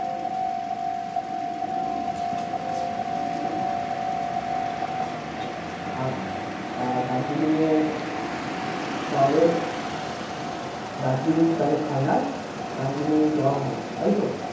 আর দার্জিলিং এ তাহলে দার্জিলিং তাহলে final দার্জিলিং যাওয়া হবে তাইতো?